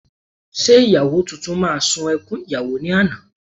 Ṣé ìyàwó tuntun máa ṣun ẹkún ìyàwó ní àná?